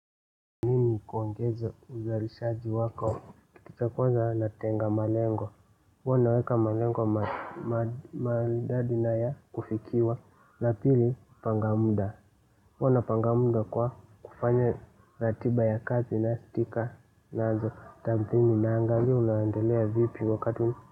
Ili kuongeze uzalishaji wako kitu cha kwanza natenga malengo huwa naweka malengo maridadi na ya kufikiwa la pili panga muda huwa napanga muda kwa kufanya ratiba ya kazi na stika naanza tathmini naangalia unaendelea vipi wakati.